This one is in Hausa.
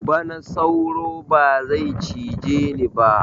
Bana sauro ba zai cije ni ba